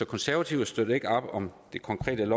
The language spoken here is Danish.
konservative støtter ikke op om det konkrete